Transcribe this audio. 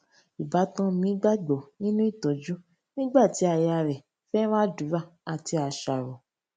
ìbátan mi gbàgbọ nínú ìtójú nígbà tí aya rè féràn àdúrà àti àṣàrò